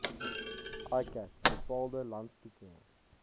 iccat bepaalde landstoekenning